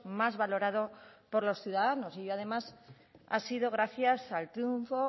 más valorado por los ciudadanos y además ha sido gracias al triunfo